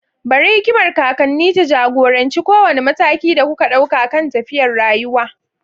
Bari hikimar kakanni ta ja-goranci kowane mataki da kuka ɗauka kan tafiyar rayuwa.